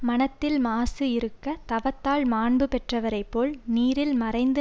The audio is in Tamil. மனத்தில் மாசு இருக்க தவத்தால் மாண்பு பெற்றவரைப்போல் நீரில் மறைந்து